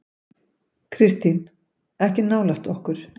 Kristín: Ekki nálægt okkur.